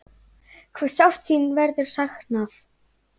Hve sárt þín verður saknað.